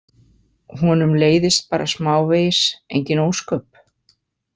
Honum leiðist bara smávegis, engin ósköp.